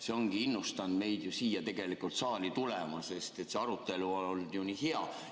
See ongi innustanud meid ju siia saali tulema, sest see arutelu on olnud nii hea.